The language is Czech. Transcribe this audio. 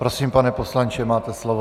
Prosím, pane poslanče, máte slovo.